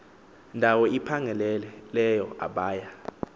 ndawo iphangaleleyo abaya